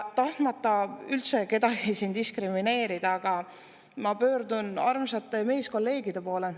Tahtmata üldse kedagi diskrimineerida, ma pöördun armsate meeskolleegide poole.